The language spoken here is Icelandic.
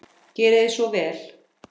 Gerið svo vel.